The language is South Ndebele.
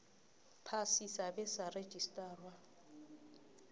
phasi sabe sarejistarwa